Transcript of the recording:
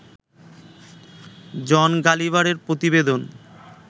জন গালিভারের প্রতিবেদন